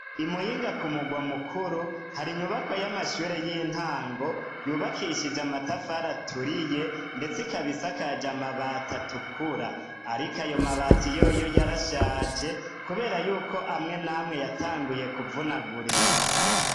Imuyinga ku mugwa mukuru, hari inyubakwa y'amashure y'intango yubakishije amatafari aturiye ndetse ikaba isakaje amabati atukura. Ariko ayo mabati yoyo yarashaje kubera yuko amwe n'amwe yatanguye kuvunagurika.